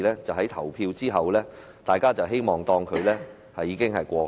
在投票後，大家便會當作這件事已經過去。